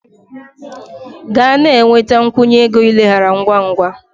Gaa na-enweta a nkwụnye ego ileghara ngwa ngwa!